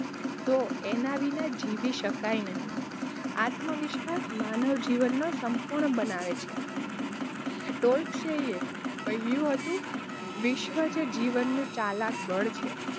તો એના વિના જીવી શકાય નહીં આત્મવિશ્વાસ માનવ જીવનને સંપૂર્ણ બનાવે છે કહ્યું હતું વિશ્વાસ જીવનનું ચાલાક બળ છે.